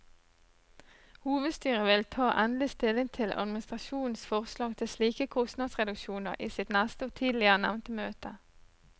Hovedstyret vil ta endelig stilling til administrasjonens forslag til slike kostnadsreduksjoner i sitt neste og tidligere nevnte møte.